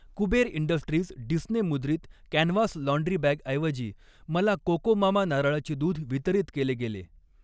Kuber industries Disney मुद्रित canvas laundry बॅगऐवजी , मला कोकोमामा नारळाचे दूध वितरित केले गेले.